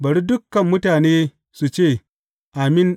Bari dukan mutane su ce, Amin!